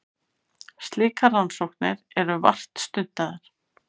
Slíkar rannsóknir eru vart stundaðar.